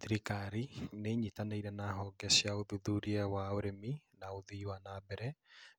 Thirikari nĩ inyitanĩire na honge cia ũthũthuria wa ũrĩmi, na ũthii wana mbere,